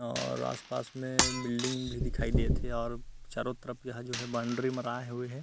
और आस-पास में बिल्डिंग भी दिखाई देत हे और चारो तरफ यहाँ जो है बाउंड्री मराये हवे हे।